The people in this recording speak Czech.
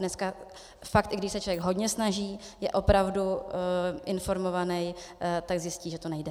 Dneska opravdu, i když se člověk hodně snaží, je opravdu informovaný, tak zjistí, že to nejde.